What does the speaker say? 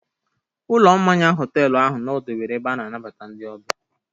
Ụlọ mmanya họtelu ahụ nọdebere ebe ahụ ana-anbata ndị ọbịa.